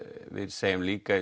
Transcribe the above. segjum líka